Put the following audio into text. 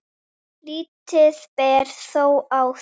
Lítið ber þó á því.